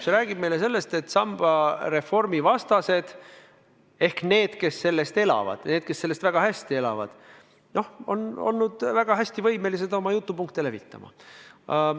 See räägib meile sellest, et samba reformi vastased ehk need, kes sellest sambast elavad, need, kes sellest väga hästi elavad, on olnud väga võimekad oma jutupunkte levitama.